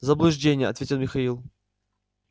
заблуждение ответил михаил